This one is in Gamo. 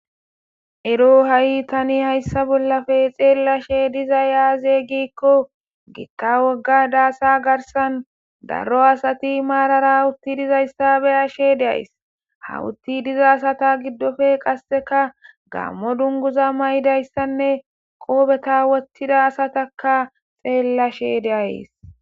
Ero ha'i tani hayssa bollafe xeellashe diza yaaze giikko giqqa wogga daasa garsan darro asati maarara utti dizayssabe ashe deays hawutti diza asata giddofe qasseka gammo dunguza may'idayssanne qoobeta wottida asataka xeellashe deayes.